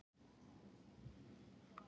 Allar þessar tegundir eru fleygar.